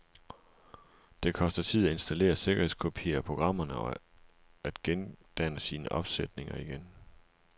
Det koster tid at installere sikkerhedskopier af programmerne og at gendanne sine opsætninger igen.